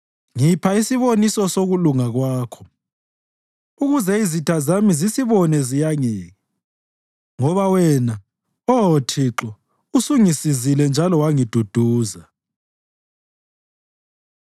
Ngipha isiboniso sokulunga kwakho, ukuze izitha zami zisibone ziyangeke, ngoba wena, Oh Thixo, usungisizile njalo wangiduduza.